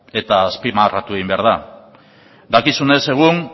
eta azpimarratu egin behar da dakizunez egun